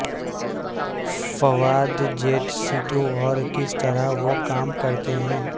فوائد جیٹ سٹو اور کس طرح وہ کام کرتے ہیں